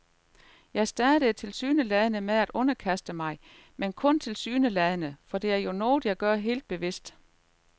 Jeg starter tilsyneladende med at underkaste mig, men kun tilsyneladende, for det er jo noget, jeg gør helt bevidst.